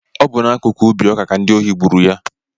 Ọ bụ n'akụkụ ubi ọka ka ndị ohi gburu ya